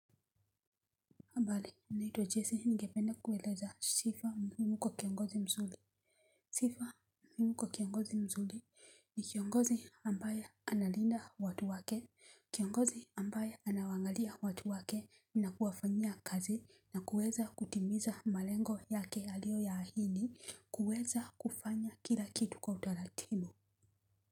Habari? Naitwa Jesse, ningependa kueleza sifa muhimu kwa kiongozi mzuri. Sifa muhimu kwa kiongozi mzuri, ni kiongozi ambaye analinda watu wake. Kiongozi ambaye anawaangalia watu wake na kuwafanyia kazi na kuweza kutimiza malengo yake aliyo ya ahidi. Kuweza kufanya kila kitu kwa utaratibu.